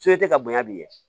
ka bonya bilen